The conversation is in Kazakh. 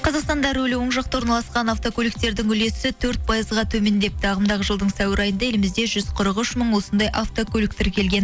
қазақстанда рөлі оң жақта орналасқан автокөліктердің үлесі төрт пайызға төмендепті ағымдағы жылдың сәуір айында елімізде жүз қырық үш мың осындай автокөлік тіркелген